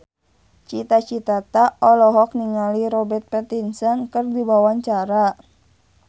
Cita Citata olohok ningali Robert Pattinson keur diwawancara